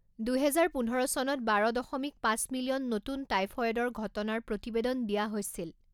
দুহেজাৰ পোন্ধৰ চনত বাৰ দশমিক পাঁচ মিলিয়ন নতুন টাইফয়েডৰ ঘটনাৰ প্ৰতিবেদন দিয়া হৈছিল।